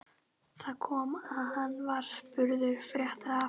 Þar kom að hann var spurður frétta af